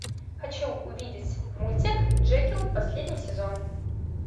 хочу увидеть мультик джекилл последний сезон